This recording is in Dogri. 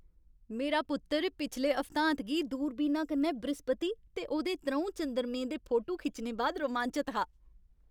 मेरा पुत्तर पिछले हफ्तांत गी दूरबीना कन्नै बृहस्पति ते ओह्दे त्र'ऊं चंद्रमें दे फोटो खिच्चने बाद रोमांचत हा।